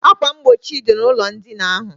Akwa mgbochi dị n' ụlọ ndina ahụ